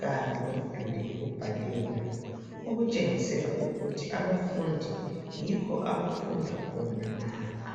kanye lemiduli yokubhalela, okutshengisela ukuthi abafundi yikho abafunda khona lapha.